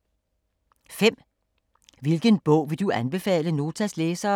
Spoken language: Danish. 5) Hvilken bog vil du anbefale Notas læsere?